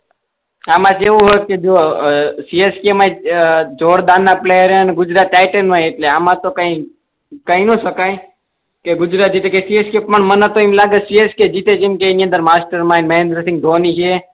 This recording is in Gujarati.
આમાં કેવું હોય ક જો સીએસકે માય જોરદાર ના પ્લયેર એ ને ગુજરાત ટાઇટન્સમાય એટલે આમાં તો કઈ કઈ કહી ના શકાય કે ગુજરાત જીતે કે સીએસકે પણ મને તો એમ લાગે કે સીએસકે જીતેગી કેમ કે એની અંદર માસ્ટર માઇન્ડ મહેન્દ્રા સિંહ ધોની હે